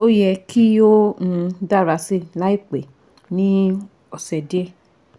O yẹ ki o um dara si laipẹ ni ọsẹ diẹ